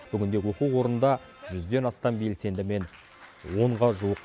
бүгінде оқу орында жүзден астам белсендімен онға жуық